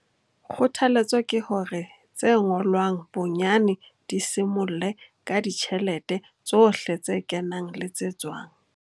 Kgothaletso ke hore tse ngolwang bonyane di simolle ka ditjhelete tsohle tse kenang le tse tswang.